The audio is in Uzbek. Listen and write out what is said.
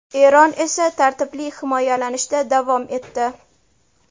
Eron esa tartibli himoyalanishda davom etdi.